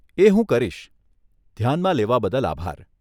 એ હું કરીશ, ધ્યાનમાં લેવા બદલ આભાર